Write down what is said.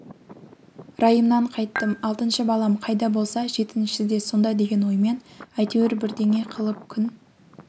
райымнан қайттым алтыншы балам қайда болса жетіншісі де сонда деген оймен әйтеуір бірдеңе қылып күн